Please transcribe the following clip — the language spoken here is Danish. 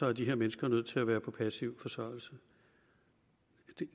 er de her mennesker nødt til at være på passiv forsørgelse